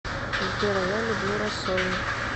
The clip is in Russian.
сбер а я люблю рассольник